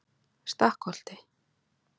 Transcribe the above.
Stakkholti